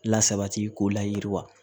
Lasabati k'o layiriwa